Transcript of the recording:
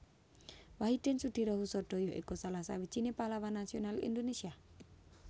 Wahidin Soedirohoesodo ya iku salah sawijiné pahlawan nasional Indonesia